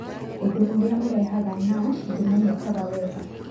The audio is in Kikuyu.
Ũndũ ũrĩa ũrehaga NASH ndũmenyekaga wega.